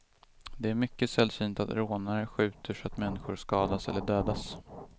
Det är mycket sällsynt att rånare skjuter så att människor skadas eller dödas.